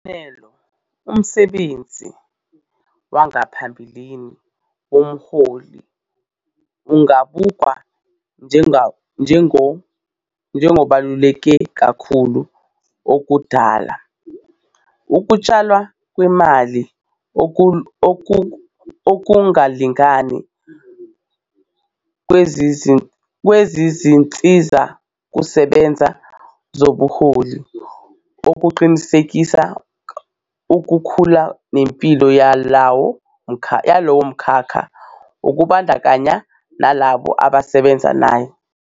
Isibonelo, umsebenzi wangaphambilini womholi, ungabukwa njengobaluleke kakhulu, okudala ukutshalwa kwemali okungalingani kwezinsizakusebenza zobuholi ukuqinisekisa ukukhula nempilo yalowo mkhakha, kubandakanya nalabo ababesebenza naye.